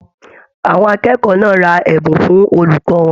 Àwọn akẹ́kọ̀ọ́ náà rà ẹbùn fún olùkọ wọn.